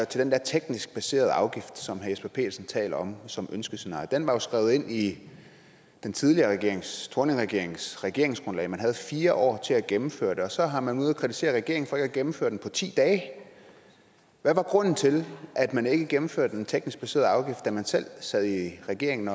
til den der teknisk baserede afgift som herre jesper petersen taler om som et ønskescenarie den var jo skrevet ind i den tidligere regerings thorningregeringens regeringsgrundlag man havde fire år til at gennemføre den og så har man været ude at kritisere regeringen for ikke at gennemføre den på ti dage hvad var grunden til at man ikke gennemførte den teknisk baserede afgift da man selv sad i regering